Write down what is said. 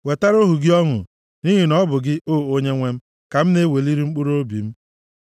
Wetara ohu gị ọṅụ, nʼihi na ọ bụ gị, O Onyenwe m, ka m na-eweliri mkpụrụobi m.